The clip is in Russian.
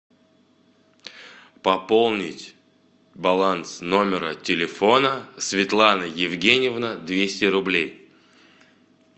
пополнить баланс номера телефона светлана евгеньевна двести рублей